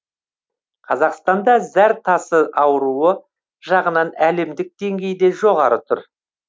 қазақстанда зәр тасы ауруы жағынан әлемдік деңгейде жоғары тұр